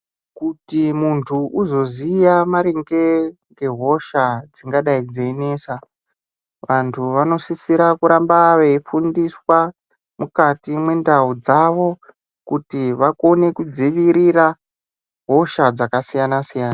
Kuti muntu uzoziya maringe ngehosha dzingadai dzeinesa vantu vanosisira kuramba veifundiswa mukati mwendau dzavo, kuti vakone kudzivirira hosha dzakasiyana-siyana.